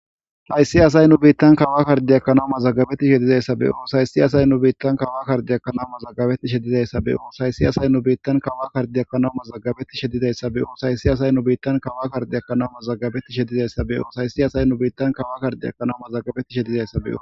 Hayssi asay nu biittan kawa kardi ekkanau mazagabetti shedizayssabeyo saysi asay nu biittan kawa kardi ekkanaw mazagabetti shedidayssa beyo saysi asay nu biittan kawa kardiekkanaw mazagabetti shedidayssa beyo sayssi asay nu biittan kawa kardi ekkanawu mazagabetti shedizayssa beyo hayssi asay nu biittan kawa kardiekkanaw mazagabetti shedizayssabeo.